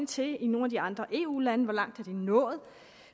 til i nogle af de andre eu lande hvor langt er de nået